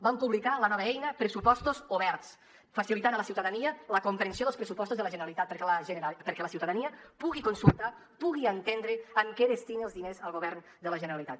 vam publicar la nova eina pressupostos oberts per facilitar a la ciutadania la comprensió dels pressupostos de la generalitat perquè la ciutadania pugui consultar pugui entendre en què destina els diners el govern de la generalitat